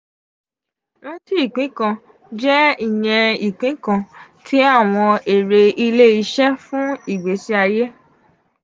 ranti ipin kan jẹ iyẹn ipin kan ti awọn ere ile-iṣẹ fun igbesi aye.